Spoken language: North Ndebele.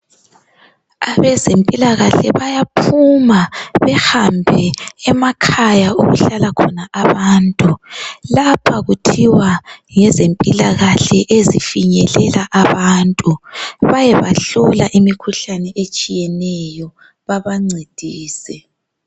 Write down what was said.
Abezempilakahle bayaphuma behambe emakhaya okuhlala khona abantu lapha kuthiwa ngezempilakahle ezifinyelela abantu bayabahlola imikhuhlane etshiyeneyo babancedise.